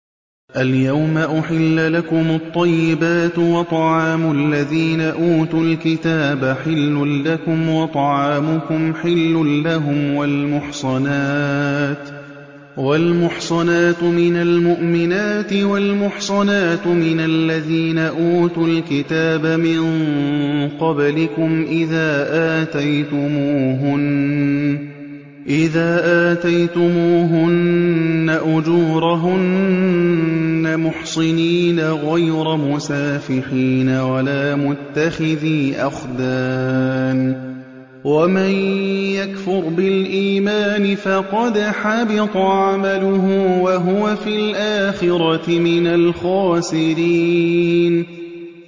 الْيَوْمَ أُحِلَّ لَكُمُ الطَّيِّبَاتُ ۖ وَطَعَامُ الَّذِينَ أُوتُوا الْكِتَابَ حِلٌّ لَّكُمْ وَطَعَامُكُمْ حِلٌّ لَّهُمْ ۖ وَالْمُحْصَنَاتُ مِنَ الْمُؤْمِنَاتِ وَالْمُحْصَنَاتُ مِنَ الَّذِينَ أُوتُوا الْكِتَابَ مِن قَبْلِكُمْ إِذَا آتَيْتُمُوهُنَّ أُجُورَهُنَّ مُحْصِنِينَ غَيْرَ مُسَافِحِينَ وَلَا مُتَّخِذِي أَخْدَانٍ ۗ وَمَن يَكْفُرْ بِالْإِيمَانِ فَقَدْ حَبِطَ عَمَلُهُ وَهُوَ فِي الْآخِرَةِ مِنَ الْخَاسِرِينَ